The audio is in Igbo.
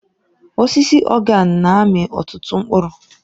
Osisi organe na-amị ọtụtụ mkpụrụ.